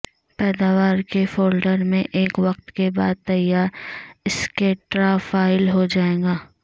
پیداوار کے فولڈر میں ایک وقت کے بعد تیار سکیڑا فائل ہو جائے گا